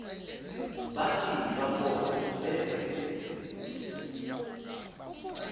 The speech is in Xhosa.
bathi bakoba bevene